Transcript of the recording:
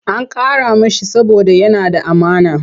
An karrama shi saboda yana da amana.